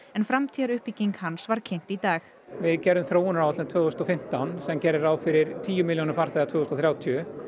en framtíðaruppbygging hans var kynnt í dag við gerðum þróunaráætlun tvö þúsund og fimmtán sem gerði ráð fyrir tíu milljónum farþega tvö þúsund og þrjátíu